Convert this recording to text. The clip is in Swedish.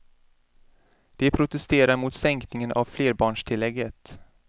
De protesterar mot sänkningen av flerbarnstillägget.